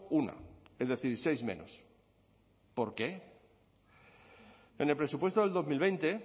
una es decir seis menos por qué en el presupuesto del dos mil veinte